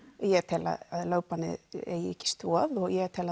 ég tel að lögbannið eigi ekki stoð og ég tel